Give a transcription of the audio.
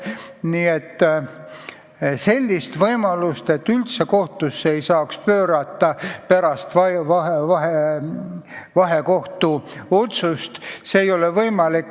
Nii et sellist võimalust, et üldse kohtusse ei saaks pöörduda pärast vahekohtu otsust, ei ole.